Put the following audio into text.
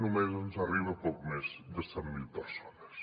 només ens arriben a poc més de cent mil persones